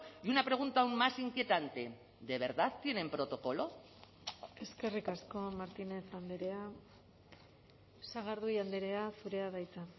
y una pregunta aún más inquietante de verdad tienen protocolo eskerrik asko martínez andrea sagardui andrea zurea da hitza